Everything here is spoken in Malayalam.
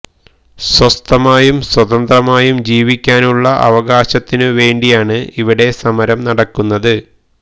സ്വസ്ഥമായും സ്വതന്ത്രമായും ജീവിക്കുവാനുള്ള അവകാശത്തിനു വേണ്ടിയാണ് ഇവിടെ സമരം നടക്കുന്നത്